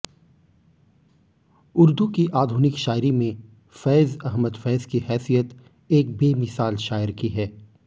उर्दू की आधुनिक शायरी में फैज़ अहमद फैज़ की हैसियत एक बेमिसाल शायर की है